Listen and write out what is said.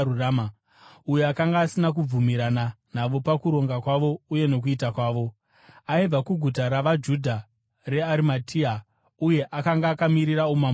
uyo akanga asina kubvumirana navo pakuronga kwavo uye nokuita kwavo. Aibva kuguta ravaJudha reArimatea uye akanga akamirira umambo hwaMwari.